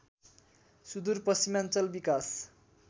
सुदुर पश्चिमाञ्चल विकास